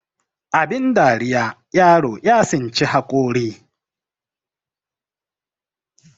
abin dariya yaro ya tsinci haƙori